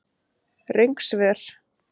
Röng svör